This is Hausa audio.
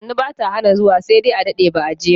Sannu bata hana zuwa sai dai a dade ba'a je ba.